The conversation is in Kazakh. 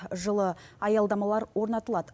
жылы аялдамалар орнатылады